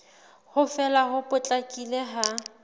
ho fela ho potlakileng ha